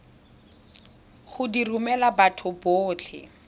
go di romela batho botlhe